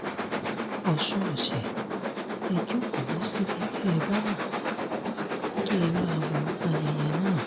ọ̀sùn ọ̀sẹ̀ ẹ jókòó síbi tí ẹ bá wá kí ẹ máa wo ayẹyẹ náà